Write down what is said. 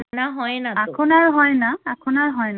এখন আর হয়না এখন আর হয়না